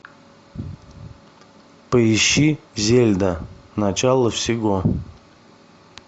поищи зельда начало всего